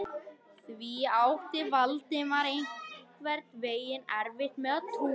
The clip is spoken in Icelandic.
Því átti Valdimar einhvern veginn erfitt með að trúa.